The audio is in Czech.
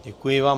Děkuji vám.